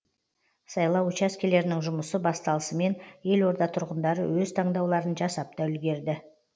сайлау учаскелерінің жұмысы басталысымен елорда тұрғындары өз таңдауларын жасап та үлгерді